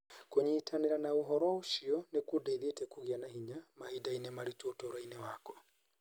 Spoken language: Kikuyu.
Kũnyitanĩra na ũhoro ũcio nĩ kũndeithĩtie kũgĩa na hinya. Mahinda-inĩ maritũ ũtũũro-inĩ wakwa.